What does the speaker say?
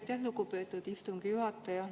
Aitäh, lugupeetud istungi juhataja!